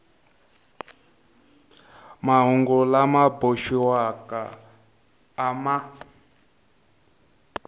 mahungu lama boxiwaka a ma